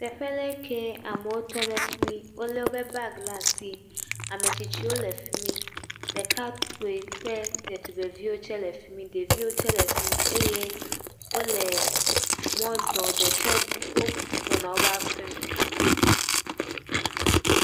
Teƒe ɖe kee amewo tɔ ɖe fi mi. wole woƒe bagi ɖe asi. Ame tsitsiwo le fi mi. Ɖekakpui kple ɖetugbiviwo tse le fi mi. Ɖeviwo ytse le fi mi eye wole mɔ zɔ ɖe tse wogbɔna wo ƒe aƒe me.